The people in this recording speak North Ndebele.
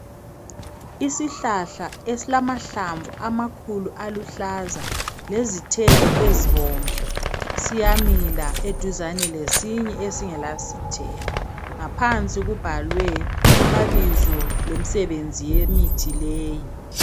Isihlahla esilamahlamvu amakhulu aluhlaza, lezithelo ezibomvu. Siyamila eduzane lesinye esingelazithelo. Ngaphansi kubhalwe amabizo lemsebenzi yemithi leyi.